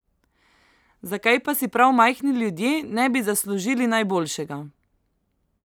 Zakaj pa si prav majhni ljudje ne bi zaslužili najboljšega!